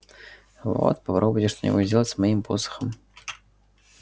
вот попробуйте что-нибудь сделать с моим посохом